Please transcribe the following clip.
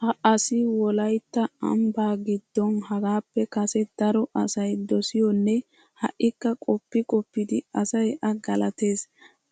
Ha asi Wolaytta ambbaa giddon hagaappe kase daro asay dosiyonne ha"ikka qoppi qoppidi asay A galatees.